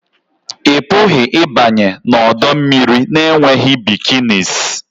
Ị pụghị ịbanye n'ọdọ mmiri na-enweghị bikinis